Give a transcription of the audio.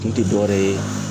Kun te dɔ wɛrɛ ye